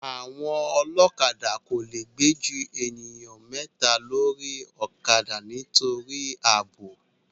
Àwọn ọlọ́kadà kò le gbé ju èèyàn mẹ́ta lórí ọ̀kadà nítorí ààbò